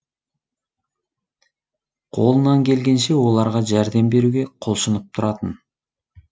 қолынан келгенше оларға жәрдем беруге құлшынып тұратын